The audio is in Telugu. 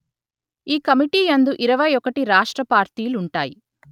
ఈ కమిటీ యందు ఇరవై ఒకటి రాష్ట్ర పార్టీలుంటాయి